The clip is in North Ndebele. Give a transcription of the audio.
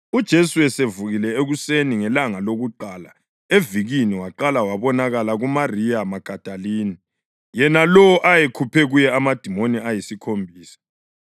UJesu esevukile ekuseni ngelanga lokuqala evikini waqala wabonakala kuMariya Magadalini yena lowo ayekhuphe kuye amadimoni ayisikhombisa.